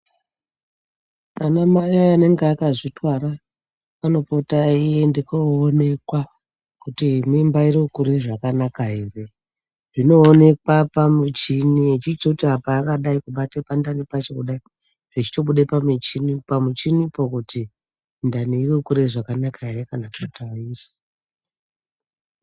Vana mai vanenge vakazvitwara vanopota veienda koonekwa kuti mimba iri kukura zvakanaka here zvinoonekwa pamuchini vachiti kubate pandani pacho kudai zveitobuda pamuchini muchini pakuti ndani yokura zvakanaka here kana kuti aisi.